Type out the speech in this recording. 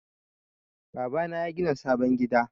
Baba na yagina sabon gida.